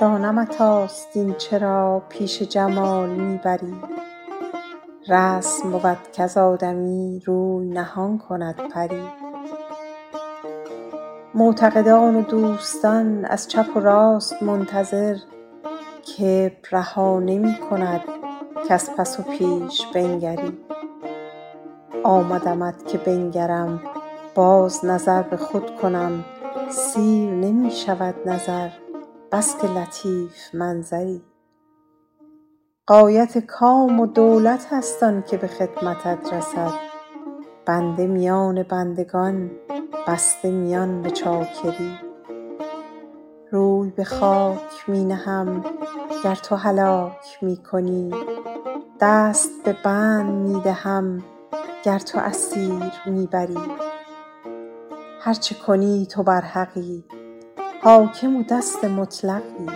دانمت آستین چرا پیش جمال می بری رسم بود کز آدمی روی نهان کند پری معتقدان و دوستان از چپ و راست منتظر کبر رها نمی کند کز پس و پیش بنگری آمدمت که بنگرم باز نظر به خود کنم سیر نمی شود نظر بس که لطیف منظری غایت کام و دولت است آن که به خدمتت رسید بنده میان بندگان بسته میان به چاکری روی به خاک می نهم گر تو هلاک می کنی دست به بند می دهم گر تو اسیر می بری هر چه کنی تو برحقی حاکم و دست مطلقی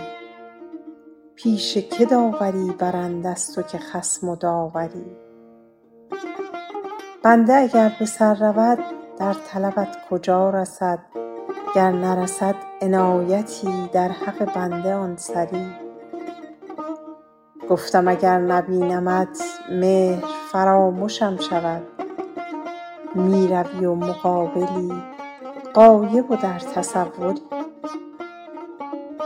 پیش که داوری برند از تو که خصم و داوری بنده اگر به سر رود در طلبت کجا رسد گر نرسد عنایتی در حق بنده آن سری گفتم اگر نبینمت مهر فرامشم شود می روی و مقابلی غایب و در تصوری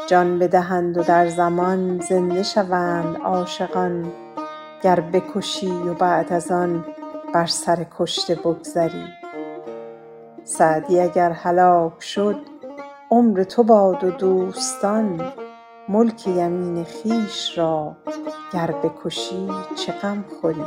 جان بدهند و در زمان زنده شوند عاشقان گر بکشی و بعد از آن بر سر کشته بگذری سعدی اگر هلاک شد عمر تو باد و دوستان ملک یمین خویش را گر بکشی چه غم خوری